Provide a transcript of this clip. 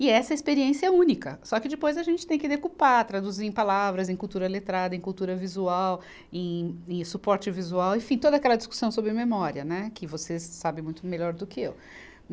E essa experiência é única, só que depois a gente tem que decupar, traduzir em palavras, em cultura letrada, em cultura visual, em, em suporte visual, enfim, toda aquela discussão sobre memória, né, que você sabe muito melhor do que eu.